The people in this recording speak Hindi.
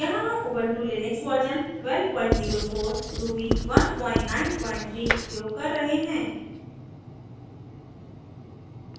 यहाँ हम उबंटु लिनक्स वर्जन 1204 ruby 193 उपयोग कर रहे हैं